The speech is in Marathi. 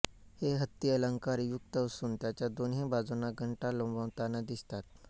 हे हत्ती अलंकार युक्त असून त्यांच्या दोन्ही बाजूना घंटा लोंबताना दिसतात